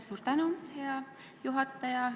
Suur tänu, hea juhataja!